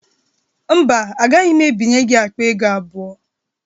Mba, agaghị m ebinye gị akpa ego abụọ.